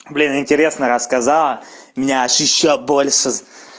блин интересно рассказала меня аж ещё больше